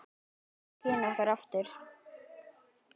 Þá efldust kynni okkar aftur.